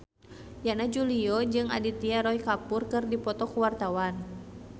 Yana Julio jeung Aditya Roy Kapoor keur dipoto ku wartawan